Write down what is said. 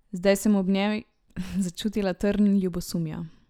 Zdaj sem ob njej začutila trn ljubosumja.